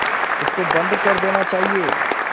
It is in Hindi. इसको बंद कर देना चाहिए